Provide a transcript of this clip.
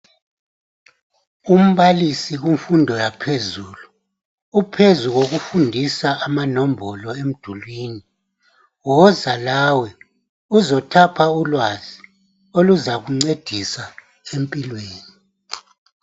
Umbalisi kumfundo yaphezulu uphakathi kokufundisa amanombolo emdulwini, unika abafundi ulwazi oluzabancedisa empilweni